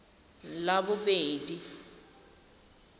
labobedi